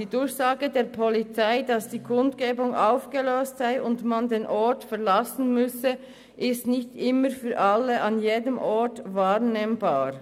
Die Durchsage der Polizei, dass die Kundgebung aufgelöst sei und man den Ort verlassen müsse, ist nicht immer für alle an jedem Ort wahrnehmbar.